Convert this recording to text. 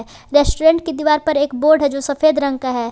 Restaurant के दीवार पे एक बोर्ड है जो कि सफेद रंग का है।